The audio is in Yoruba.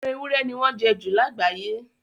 Ẹran ewúrẹ́ ni wọ́n jẹ ju lágbàáye.